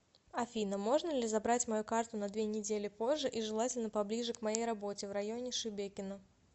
афина можно ли забрать мою карту на две недели позже и желательно поближе к моей работе в районе шебекино